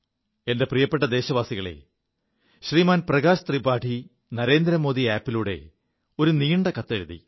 എന്റെ പ്രിയപ്പെ ദേശവാസികളേ ശ്രീമാൻ പ്രകാശ് ത്രിപാഠി നരേന്ദ്രമോദി ആപിലൂടെ ഒരു നീണ്ട കത്തെഴുതി